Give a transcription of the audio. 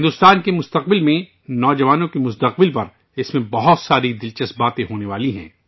بھارت کے مستقبل میں، نوجوانوں کے مستقبل پر بہت سی دل چسپ چیزیں ہونے والی ہیں